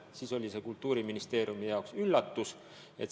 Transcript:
See oli siis Kultuuriministeeriumi jaoks üllatus.